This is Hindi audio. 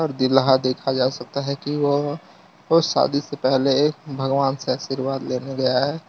दूल्हा देखा जा सकता है की वह वो शादी से पहले भगवान से आशीर्वाद लेने गया है।